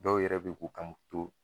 Dɔw yɛrɛ bi k'u kan mun to